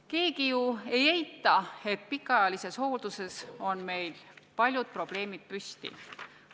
Keegi ju ei eita, et pikaajalises hoolduses on meil paljud probleemid püsti.